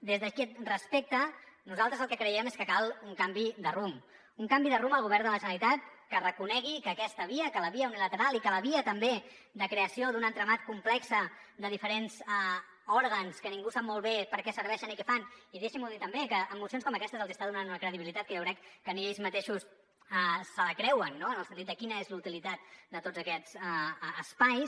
des d’aquest respecte nosaltres el que creiem és que cal un canvi de rumb un canvi de rumb al govern de la generalitat que reconegui que aquesta via que la via unilateral i que la via també de creació d’un entramat complex de diferents òrgans que ningú sap molt bé per a què serveixen i què fan i deixin m’ho dir també que amb mocions com aquestes els està donant una credibilitat que jo crec que ni ells mateixos se la creuen no en el sentit de quina és la utilitat de tots aquests espais